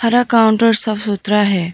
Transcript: पूरा काउंटर साफ सुथरा है।